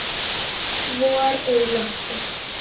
Vor er í lofti.